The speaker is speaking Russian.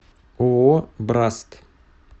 ооо браст